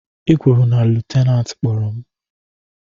I kwuru na lutenantị kpọrọ m?